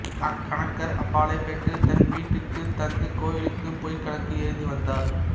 கணக்கர் அப்பாலைப் பெற்று தன் வீட்டுக்குத் தந்து கோயிலுக்குப் பொய்க்கணக்கு எழுதி வந்தார்